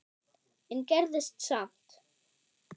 en gerðist samt.